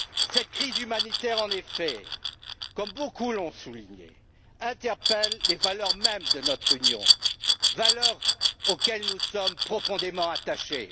Cette crise humanitaire, en effet, comme beaucoup l'ont souligné, interpelle les valeurs mêmes de notre union, valeurs auxquelles nous sommes profondément attachés.